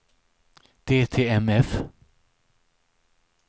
DTMF